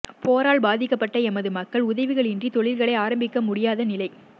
போரால் பாதிக்கப்பட்ட எமது மக்கள் உதவிகளின்றி தொழில்களை ஆரம்பிக்க முடியாத நிலை